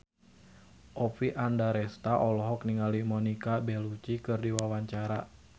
Oppie Andaresta olohok ningali Monica Belluci keur diwawancara